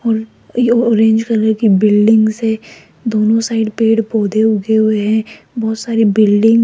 और ये orange colour की बिल्डिंग से दोनों साइड पेड़ पौधे उगे हुए हैं बहोत सारी बिल्डिंग --